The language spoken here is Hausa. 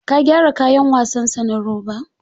Ka gyara kayan wasan sa na roba?